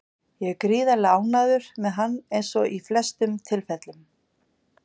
Ég er gríðarlega ánægður með hann eins og í flestum tilfellum.